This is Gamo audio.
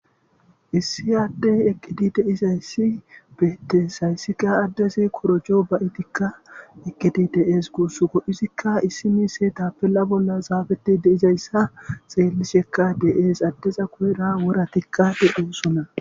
Issi addey eqqidi deis hayssi beettes hayssika addesi korojo ba7itikka eqqidi de7ees guussuko izikka issi miise ta pella bolla zaafeti deizayssa xeellishekka de7ees addeza kuera wora tikka de7oosona.